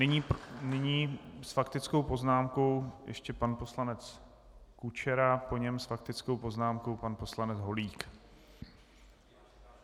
Nyní s faktickou poznámkou ještě pan poslanec Kučera, po něm s faktickou poznámkou pan poslanec Holík.